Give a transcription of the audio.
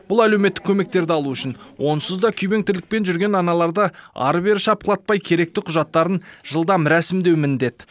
бұл әлеуметтік көмектерді алу үшін онсыз да күйбең тірлікпен жүрген аналарды ары бері шапқылатпай керекті құжаттарын жылдам рәсімдеу міндет